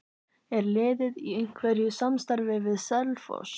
Er liðið í einhverju samstarfi við Selfoss?